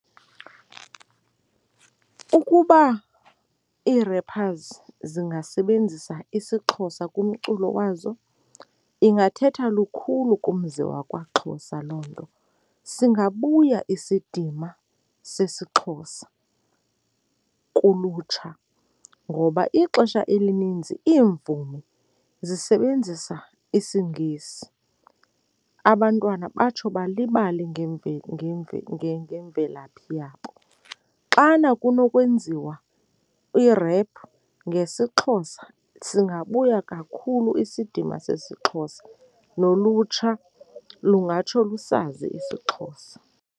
Ukuba ii-rappers zingasebenzisa isiXhosa kumculo wazo, ingathetha lukhulu kumzi wakwaXhosa loo nto. Singabuya isidima sesiXhosa kulutsha ngoba ixesha elininzi iimvumi zisebenzisa isiNgesi, abantwana batsho balibale ngemvelaphi yabo. Xana kunokwenziwa irephu ngesiXhosa singabuya kakhulu isidima sesiXhosa nolutsha lugatsho lusazi isiXhosa.